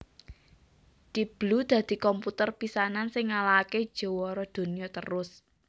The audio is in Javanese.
Deep Blue dadi komputer pisanan sing ngalahaké jawara donya terus